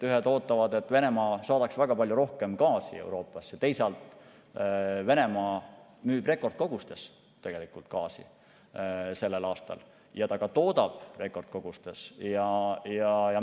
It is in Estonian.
Ühed ootavad, et Venemaa saadaks väga palju rohkem gaasi Euroopasse, teisalt müüb Venemaa sellel aastal tegelikult rekordkoguses gaasi ja ta ka toodab rekordkoguses.